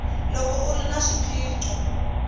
loko u ri na swiphiqo